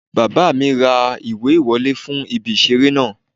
Bàbá mi ra ìwé ìwọlé fún ibi ìseré náà